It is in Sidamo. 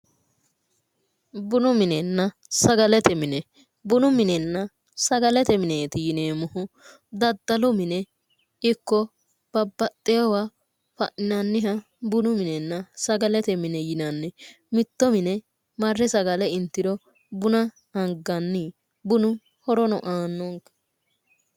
Bunu minenna sagalete mineti yineemmohu dadalu mine iko babaxewoha fa'ninanniha bunu minenna sagalete mine yinanni mitto mine mare sagale intiro buna aganni bununno horo aannonke